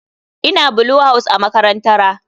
Ina Blue house a makarantara.